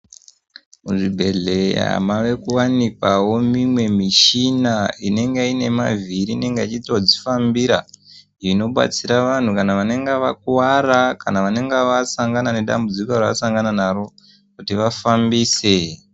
Muzvigwehleya mave kuwanikwawo mimwe mishina ,inonga ine mavhiri inenge ichitozvifambira inobatsira vanhu vanenge vakwara kana vanenge vasangana nedambudziko ravasangana naro kuti vafambise .